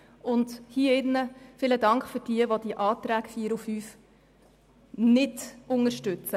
Und in diesem Saal danke ich all jenen, die die Massnahmen 4 und 5 nicht unterstützen.